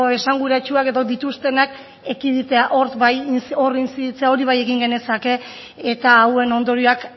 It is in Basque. esanguratsuak edo dituztenak ekiditea hor bai hor intziditzea hori bai egin genezake eta hauen ondorioak